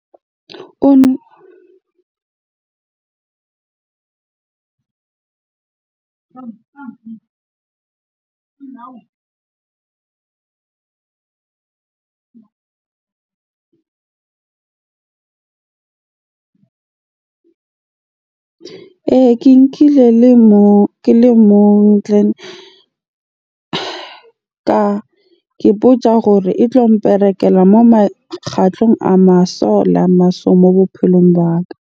Ee, ke nkile ke le mong . Ka kipotsa gore e tlo mperekela moo moo bophelong ba ka.